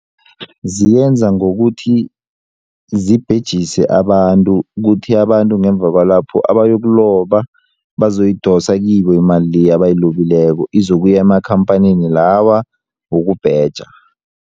Ziyenza ngokuthi zibhejise abantu kuthi abantu ngemva kwalapho abayokuloba bazoyidosa kibo imali le abayilobileko izokuya amakhamphanini lawa wokubheja.